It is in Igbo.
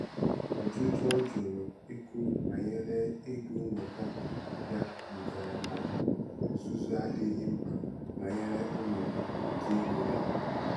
Ọjụjụ ọ jụrụ ikwu banyere ego nnweta ya dugara na nzuzo adịghị mkpa banyere ọnọdụ nke ego ya.